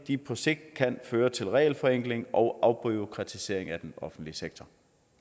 de på sigt kan føre til regelforenkling og afbureaukratisering af den offentlige sektor